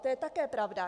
To je také pravda.